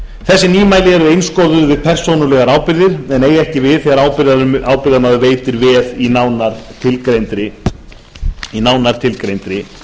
þessi nýmæli eru einskorðuð við persónulegar ábyrgðir en eiga ekki við þegar ábyrgðarmaður veitir veð í nánar tilgreindri